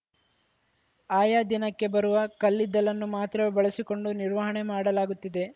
ಆಯಾ ದಿನಕ್ಕೆ ಬರುವ ಕಲ್ಲಿದ್ದಲ್ಲನ್ನು ಮಾತ್ರವೇ ಬಳಸಿಕೊಂಡು ನಿರ್ವಹಣೆ ಮಾಡಲಾಗುತ್ತಿದೆ